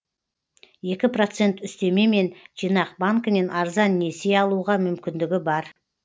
екі процент үстемемен жинақ банкінен арзан несие алуға мүмкіндігі бар